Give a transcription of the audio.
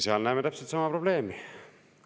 Seal näeme täpselt sama probleemi.